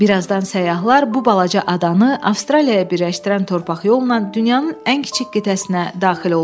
Birazdan səyyahlar bu balaca adanı Avstraliyaya birləşdirən torpaq yolla dünyanın ən kiçik qitəsinə daxil oldular.